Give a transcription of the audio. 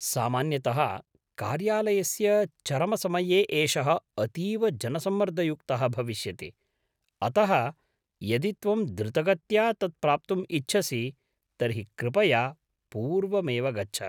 सामान्यतः कार्यालयस्य चरमसमये एषः अतीव जनसम्मर्दयुक्तः भविष्यति, अतः यदि त्वं द्रुतगत्या तत् प्राप्तुम् इच्छसि तर्हि कृपया पूर्वमेव गच्छ।